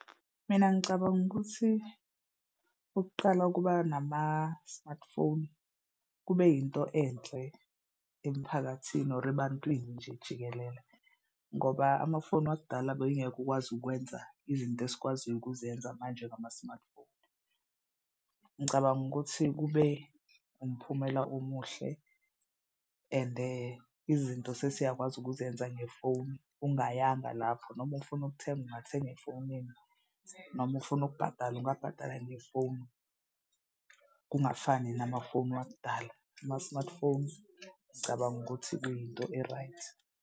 Mina ngicabanga ukuthi ukuqala ukuba nama-smartphone kube yinto enhle emphakathini or ebantwini nje jikelele. Ngoba amafoni wakudala bengeke ukwazi ukwenza izinto esikwaziyo ukuzenza manje ngama-smartphone. Ngicabanga ukuthi kube umphumela omuhle ende izinto sesiyakwazi ukuzenza ngefoni. Ungayanga lapho noma ufuna ukuthenga ungathenga efonini noma ufuna ukubhatala ungabhatala ngefoni. Kungafani namafoni wakudala ama-smartphone ngicabanga ukuthi kuyinto e-right.